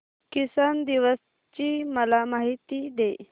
किसान दिवस ची मला माहिती दे